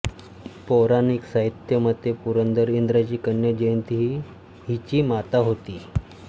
पौराणिक साहित्यमते पुरंदर इंद्राची कन्या जयंती ही हिची माता होती